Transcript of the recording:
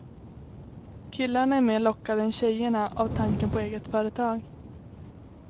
Killarna är mer lockade än tjejerna av tanken på eget företag.